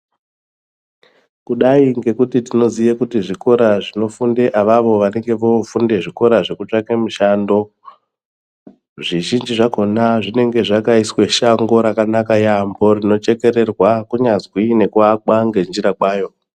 Kudai ngekuti tinoziye kuti zvikora zvinofunde avavo vanenge voofunde zvikora zvekutsvake mushando zvizhinji zvakona zvinenge zvakaiswe shango rakanaka yaamho rinochekererwa kunyazwi nekuakwa ngenjira kwayo.